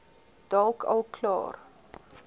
dalk al klaar